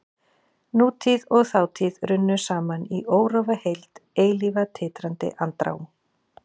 Nútíð og þátíð runnu saman í órofa heild, eilífa titrandi andrá.